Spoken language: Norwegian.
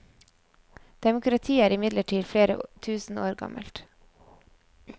Demokrati er imidlertid flere tusen år gammelt.